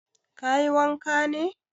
Ka yi wanka ne?